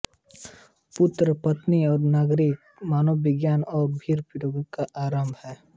पुत्री पत्नी और नारी का मनोविज्ञान और फिर वैराग्य का आरंभ